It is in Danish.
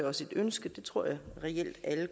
også et ønske det tror jeg reelt alle